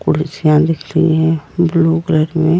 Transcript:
कुर्सियां दिख रही है ब्लू कलर में --